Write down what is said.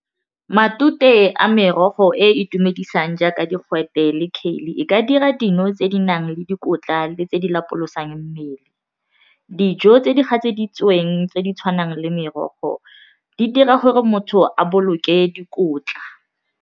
Matute a merogo e e itumedisang jaaka digwete le e ka dira dino tse di nang le dikotla le tse di lapolosang mmele dijo tse di gatseditsweng tse di tshwanang le merogo di dira gore motho a boloke dikotla.